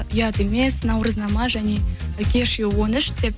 ұят емес наурызнама және кешью он үш деп